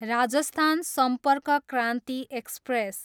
Rajasthan Sampark Kranti express